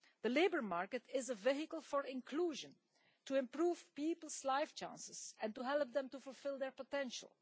The labour market is a vehicle for inclusion, to improve people's life chances and to help them to fulfil their potential.